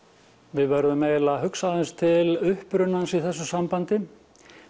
við verðum eiginlega að hugsa aðeins til upprunans í þessu sambandi